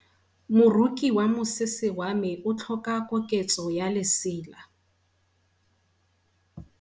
Moroki wa mosese wa me o tlhoka koketso ya lesela.